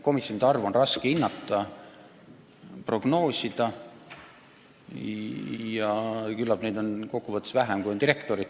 Komisjonide arvu on raske prognoosida, aga küllap neid on kokkuvõttes tunduvalt vähem kui direktoreid.